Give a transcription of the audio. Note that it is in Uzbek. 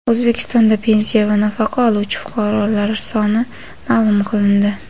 O‘zbekistonda pensiya va nafaqa oluvchi fuqarolar soni ma’lum qilindi.